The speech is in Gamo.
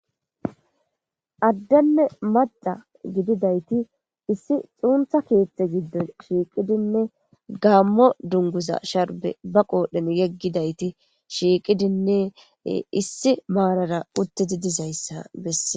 Adene macca gididayt issi xunita keththa giddon shiqidine gamo duniguza sharibe ba qodhen yegidayti shiqidine issi maradan uttizi dizayisa besses.